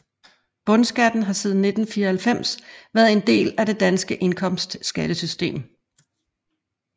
Bundskatten har siden 1994 været en del af det danske indkomstskattesystem